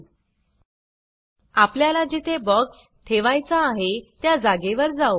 000443 000349 आपल्याला जेथे बॉक्स ठेवायचा आहे त्या जागेवर जाऊ